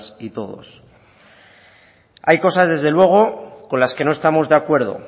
y todos hay cosas desde luego con las que no estamos de acuerdo